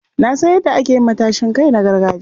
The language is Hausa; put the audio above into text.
Na san yadda ake yin matashin kai na gargajiya.